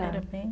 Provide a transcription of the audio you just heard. Era bem.